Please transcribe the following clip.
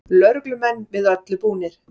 Lögreglumenn við öllu búnir